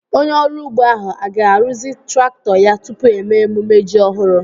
Onye ọrụ ugbo ahu a ga-arụzi traktọ ya tupu émé emumme ji ọhụrụ?